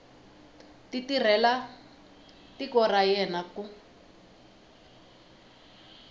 tirhela tiko ra yena ku